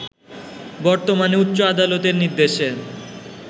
বর্তমানে উচ্চ আদালতের নির্দেশে